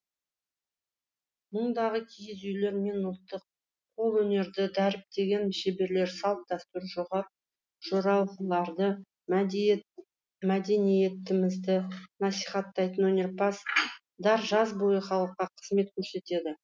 мұндағы киіз үйлер мен ұлттық қолөнерді дәріптеген шеберлер салт дәстүр жоралғыларды мәдениетімізді насихаттайтын өнерпаздар жаз бойы халыққа қызмет көрсетеді